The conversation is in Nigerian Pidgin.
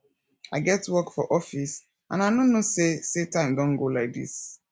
i get work for office and i no know say say time don go like dis